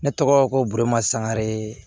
Ne tɔgɔ ko borima sangare